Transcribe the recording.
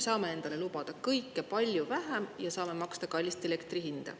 Saame endale lubada kõike palju vähem, et saaks maksta kallist elektri hinda.